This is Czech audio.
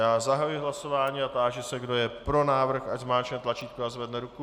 Já zahajuji hlasování a táži se, kdo je pro návrh, ať zmáčkne tlačítko a zvedne ruku.